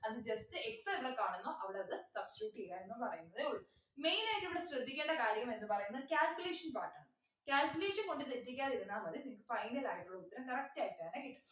അത് just x എന്ന് കാണുന്നോ അവിടെ അത് substitute ചെയ്യാനെന്ന് പറയുന്നതെ ഉള്ളൂ main ആയിട്ടിവിടെ ശ്രദ്ധിക്കേണ്ട കാര്യം എന്ന് പറയുന്നത് calculation part ആണ് calculation കൊണ്ട് തെറ്റിക്കാതിരുന്നാൽ മതി നിങ്ങക്ക് final ആയിട്ടുള്ള ഉത്തരം correct ആയിട്ട് തന്നെ കിട്ടും